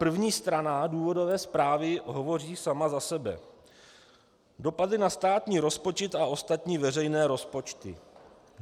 První strana důvodové zprávy hovoří sama za sebe: Dopady na státní rozpočet a ostatní veřejné rozpočty.